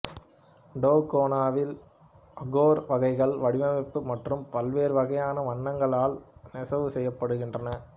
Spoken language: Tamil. டோகோனாவில் அகோர் வகைகள் வடிவமைப்பு மற்றும் பல்வேறு வகையான வண்ணங்களால் நெசவு செய்யப்படுகின்றன